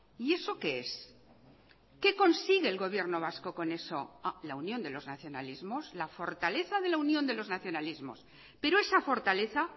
y eso qué es qué consigue el gobierno vasco con eso la unión de los nacionalismos la fortaleza de la unión de los nacionalismos pero esa fortaleza